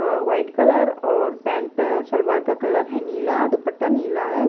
अह white colour और pant salwar का colour है नीला और दुपट्टा नीला है।